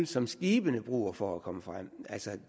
som skibene bruger for at komme frem